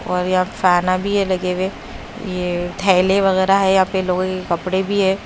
और यहां फैनां भी है लगे हुए यह थैले वगैरह है यहां पे लोगों के कपड़े भी हैं।